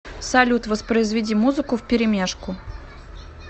салют воспроизведи музыку вперемешку